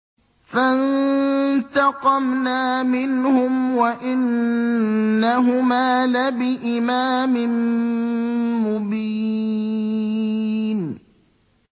فَانتَقَمْنَا مِنْهُمْ وَإِنَّهُمَا لَبِإِمَامٍ مُّبِينٍ